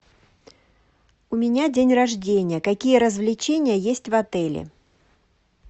у меня день рождения какие развлечения есть в отеле